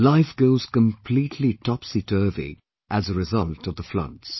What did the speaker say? Life goes completely topsyturvy as a result of the floods